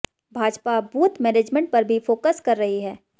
Bhajpa booth management पर भी focus कर रही है